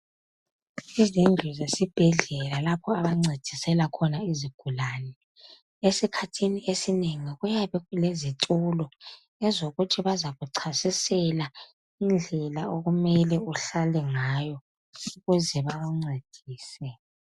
Izindlu zesibhedlela lapho abancedisela khona izigulane esikhathini esinengi kuyabe kulezitulo ezokuthi bazakuchasisela indlela okumele uhlale ngayo ukuze bakuncedise.